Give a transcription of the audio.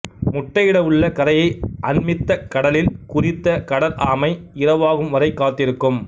முட்டையிடவுள்ள கரையை அண்மித்த கடலில் குறித்த கடல் ஆமை இரவாகும் வரை காத்திருக்கும்